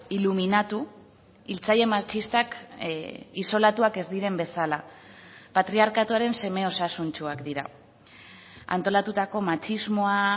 iluminatu hiltzaile matxistak isolatuak ez diren bezala patriarkatuaren seme osasuntsuak dira antolatutako matxismoa